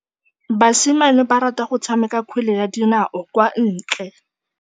Basimane ba rata go tshameka kgwele ya dinaô kwa ntle.